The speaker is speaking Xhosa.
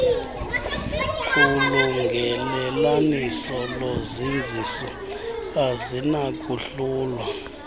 kulungelelaniso nozinziso azinakuhlulwa